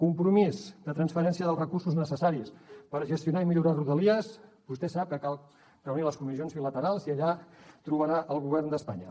compromís de transferència dels recursos necessaris per gestionar i millorar rodalies vostè sap que cal reunir les comissions bilaterals i allà trobarà el govern d’espanya